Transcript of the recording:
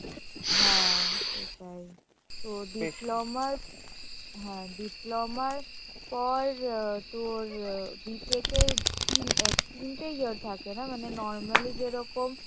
হ্যাঁ সেটাই তো diploma র হ্যাঁ diploma র পর আ তোর ইয়া B tech এর তিন~ তিনটে year থাকে না মানে normally যেরকম